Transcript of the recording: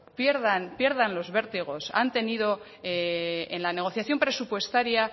pierdan pierdan los vértigos en la negociación presupuestaria